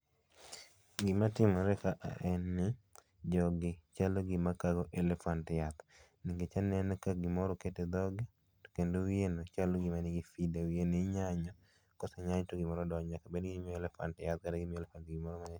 Gima timore ka en ni jogi chalo gima kago elephant yath nikech aneno ka gimoro oket e dhoge to kendo wiye no chalo gima manigi feeder, wiye no inyanyo, kosenyany to gimoro donje. Bedni gimiyo elephant yath kata gimiyo elephant gimoro